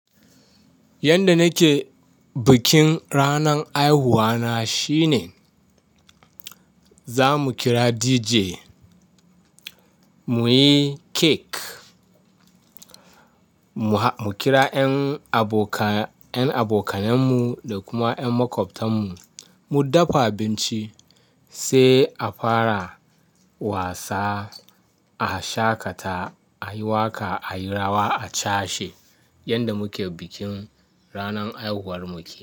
Yanda nake bikin ranan haihuwa na shine zamu kira DJ, muyi cake, mu kira 'yan abokanayenmu da kuma 'yan makwabtanmu, mu dafa abinci sai a fara wasa, a shaƙata, a yi waƙa, a yi rawa, a cashe yanda muke bikin ranan haihuwar mu ke.